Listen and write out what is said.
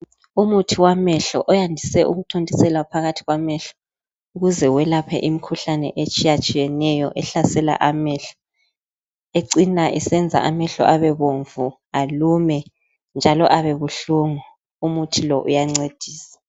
Umuthi wamehlo oyandise ukuthontiselwa phakathi kwamehlo ukuze welaphe imikhuhlane etshiya tshiyeneyo ehlasela amehlo ecina isenza amehlo abebomvu, alume njalo abebuhlungu, umuthi lo uyancedisa.